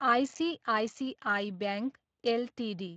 ICICI bank Ltd